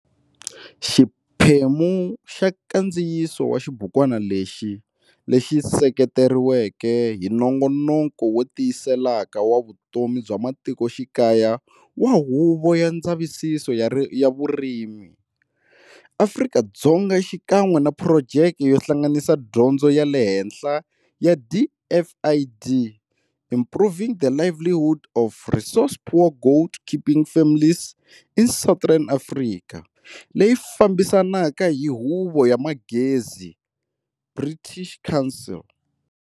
Xiphemu xa nkandziyiso wa xibukwana lexi, lexi sekeretiweke hi Nongonoko wo Tiyiseleka wa Vutomi bya Matikoxikaya wa Huvo ya Ndzavisiso ya Vurimi, Afrika-Dzonga xikan'we na phurojeke yo Hlanganisa Dyondzo ya le Henhla ya DFID Improving the livelihood of resource-poor goat keeping families in southern Africa, leyi fambisaka hi Huvo ya Manghezi, British Council.